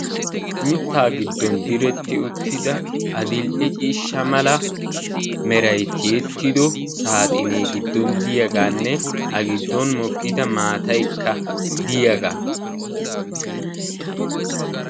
Mitta giddon diretti uttida adl"e ciishsha mala meray tiyyetido saaxine giddon diyaaganne a giddon mokkida maataykka diyaaga.